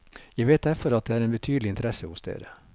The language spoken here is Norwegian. Jeg vet derfor at det er en betydelig interesse hos dere.